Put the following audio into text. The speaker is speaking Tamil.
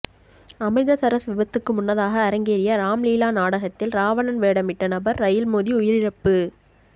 அமிர்தசரஸ் விபத்துக்கு முன்னதாக அரங்கேறிய ராம்லீலா நாடகத்தில் ராவணன் வேடமிட்ட நபர் ரயில் மோதி உயிரிழப்பு